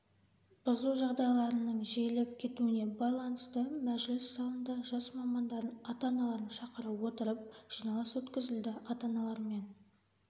бұзу жағдайларының жиілеп кетуіне байланысты мәжіліс залында жас мамандардың ата-аналарын шақыра отырып жиналыс өткізілді ата-аналармен